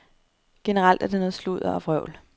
Generelt er det noget sludder og vrøvl.